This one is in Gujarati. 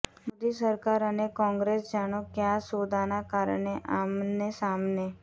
મોદી સરકાર અને કોંગ્રેસ જાણો ક્યાં સોદાના કારણે આમને સામને